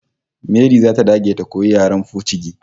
Mary zata dage ta koyi yaren pocigi